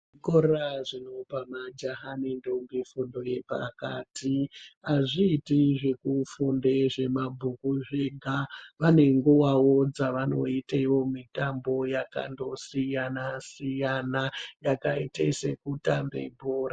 Zvikora zvinopa majaha ne ndombo fundo yepakati azviiti zveku funde zve mabhuku zvega vane nguvawo dzavanoitewo mitambo yakando siyana siyana yakaite se kutambe bhora.